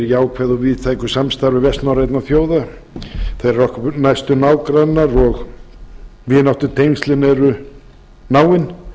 jákvæðu og víðtæku samstarfi vestnorrænna þjóða þær eru okkar næstu nágrannar og vináttutengslin eru náin